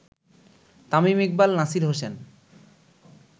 Tamim Iqbal, Nasir Hossain